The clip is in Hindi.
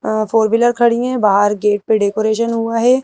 अ अ फोर व्हीलर खड़ी हैं बाहर गेट पे डेकोरेशन हुआ है।